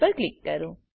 પર ક્લિક કરો